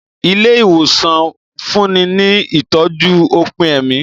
Ilé ìwòsàn ń fúnni ní ìtọ́jú òpin ẹ̀mí